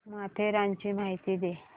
माथेरानची माहिती दे